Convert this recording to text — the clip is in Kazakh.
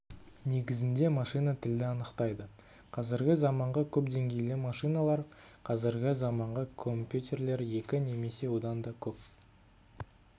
негізінде машина тілді анықтайды қазіргі заманғы көпдеңгейлі машиналар қазіргі заманғы компьютерлер екі немесе одан да көп